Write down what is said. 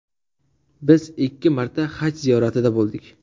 Biz ikki marta Haj ziyoratida bo‘ldik.